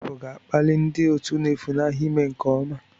Ịgba abụ ga-akpali ndị otu na-efunahụ ime nke ọma